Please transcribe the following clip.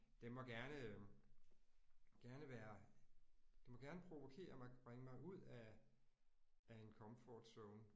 Den må gerne gerne være det må gerne provokere mig bringe mig ud af af en comfort zone